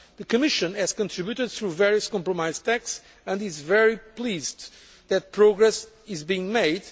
grasp. The Commission has contributed through various compromise texts and is very pleased that progress is being